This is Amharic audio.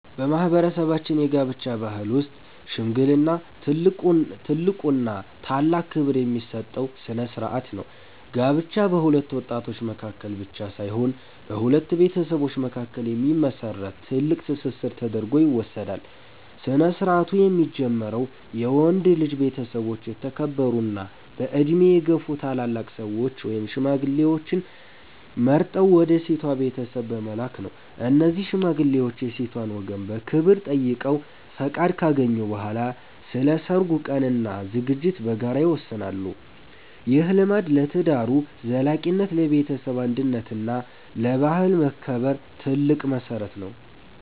በማህበረሰባችን የጋብቻ ባህል ውስጥ "ሽምግልና" ትልቁና ታላቅ ክብር የሚሰጠው ስነ-ስርዓት ነው። ጋብቻ በሁለት ወጣቶች መካከል ብቻ ሳይሆን በሁለት ቤተሰቦች መካከል የሚመሰረት ጥብቅ ትስስር ተደርጎ ይወሰዳል። ስነ-ስርዓቱ የሚጀምረው የወንድ ልጅ ቤተሰቦች የተከበሩና በዕድሜ የገፉ ታላላቅ ሰዎችን (ሽማግሌዎችን) መርጠው ወደ ሴቷ ቤተሰብ በመላክ ነው። እነዚህ ሽማግሌዎች የሴቷን ወገን በክብር ጠይቀው ፈቃድ ካገኙ በኋላ፣ ስለ ሰርጉ ቀንና ዝግጅት በጋራ ይወስናሉ። ይህ ልማድ ለትዳሩ ዘላቂነት፣ ለቤተሰብ አንድነት እና ለባህል መከበር ትልቅ መሰረት ነው።